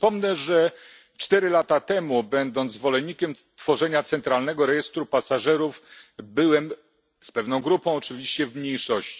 Przypomnę, że cztery lata temu, będąc zwolennikiem tworzenia centralnego rejestru pasażerów, byłem, z pewną grupą oczywiście, w mniejszości.